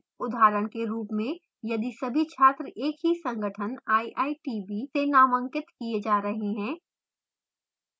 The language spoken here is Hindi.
उदाहरण के रूप में यदि सभी छात्र एक ही सगंठन iitb से नामांकित किये जा रहे हैं